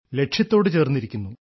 ലക്ഷ്യത്തോട് ചേർന്നിരിക്കുന്നു